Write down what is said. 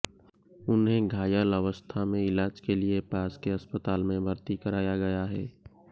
उन्हें घायल अवस्था में इलाज के लिए पास के अस्पताल में भर्ती कराया गया है